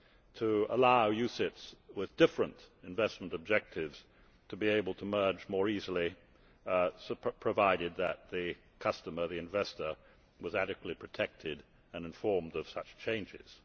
further to allow UCITS with different investment objectives to be able to merge more easily, provided that the investor was adequately protected and informed of such changes.